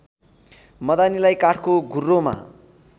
मदानीलाई काठको घुर्रोमा